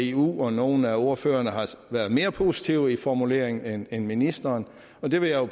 eu og nogle af ordførerne har været mere positive i formuleringen end end ministeren og det vil jeg